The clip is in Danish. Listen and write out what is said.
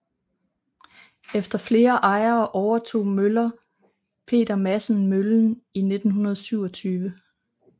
Efter flere ejere overtog møller Peter Madsen møllen i 1927